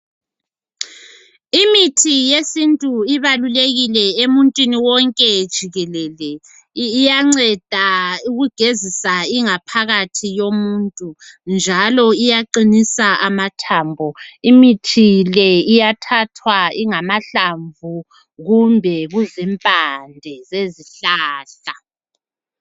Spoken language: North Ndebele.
Imithi yesintu ibalulekile emuntwini wonke jikelele, iyanceda ukugezisa ingaphakathi yomuntu iyathathwa kungamahlamvu kumbe kuzimpande